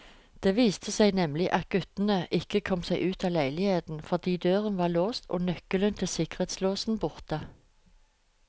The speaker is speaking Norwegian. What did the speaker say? Det viste seg nemlig at guttene ikke kom seg ut av leiligheten, fordi døren var låst og nøkkelen til sikkerhetslåsen borte.